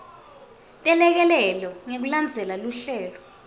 telekelelo ngekulandzela luhlelo